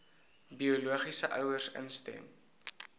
biologiese ouers instem